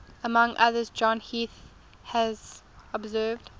among others john heath has observed